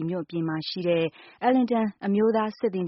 မြို့အပြင်မှာရှိတဲ့ Arlington အမျိုးသား စစ်သင်္